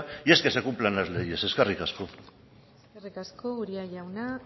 y es que se cumplan las leyes eskerrik asko eskerrik asko uria jauna